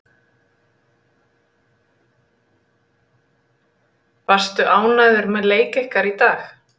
Varstu ánægður með leik ykkar í dag?